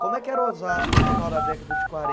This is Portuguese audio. Como é que era Osasco no final da década de